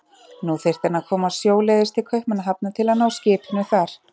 Nú þyrfti hann að komast sjóleiðis til Kaupmannahafnar til að ná skipinu þar.